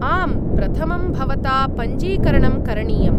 आम्, प्रथमं भवता पञ्जीकरणं करणीयम्।